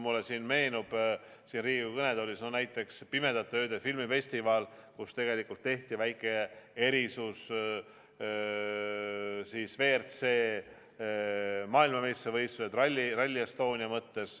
Mulle meenub siin Riigikogu kõnetoolis näiteks Pimedate Ööde filmifestival, kus tegelikult tehti väike erisus, siis WRC maailmameistrivõistluste Rally Estonia.